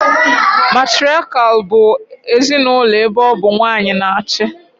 Matiriakial bụ ezinaụlọ ebe ọ bụ nwanyị na achị